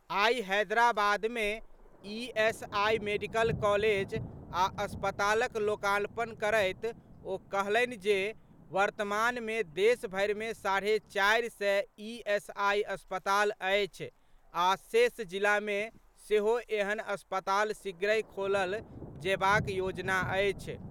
आइ हैदराबाद मे ESI medical college आ अस्पतालक लोकार्पण करैत ओ कहलनि जे वर्तमान मे देशभरि मे साढ़े चारि सय ईएसआई अस्पताल अछि आ शेष जिला मे सेहो एहेन अस्पताल शीघ्रहि खोलल जेबाक योजना अछि।